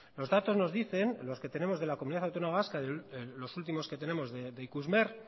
los datos nos dicen los que tenemos de la comunidad autónoma vasca los últimos que tenemos de ikusmer